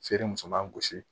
Feere muso b'an gosi